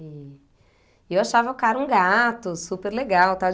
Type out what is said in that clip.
E e eu achava o cara um gato, super legal, tá?